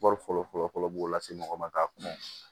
Wari fɔlɔ fɔlɔ fɔlɔ b'o la se mɔgɔ ma k'a kɔnɔ